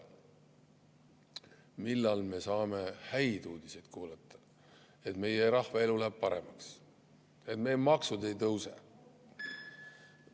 Millal me saame häid uudiseid kuulata, et meie rahva elu läheb paremaks, et meie maksud ei tõuse?